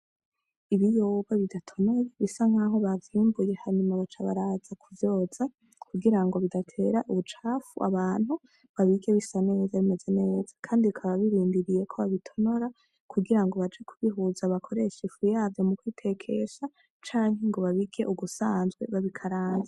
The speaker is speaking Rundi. Ibiyoba bidatonoye bisa nkaho baziumbuye hanyuma baca baraza kuvyoza kugira ngo bidatera ubucafu abantu babige bisa neza bimeze neza, kandi bakaba birindiriye ko babitonora kugira ngo baje kubihuza bakoresha ifu yayo mu kwitekesha canke ngo babige ugusanzwe babikaranza.